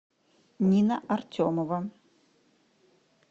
нина артемова